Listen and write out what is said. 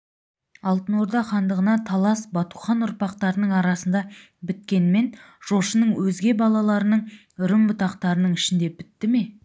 алтын орда хандығына талас батухан ұрпақтарының арасында біткенмен жошының өзге балаларының үрім-бұтақтарының ішінде бітті ме